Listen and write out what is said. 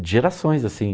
E gerações, assim.